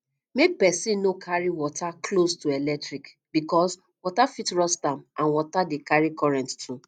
make person no carry water close to electric because water fit rust am and water de carry current too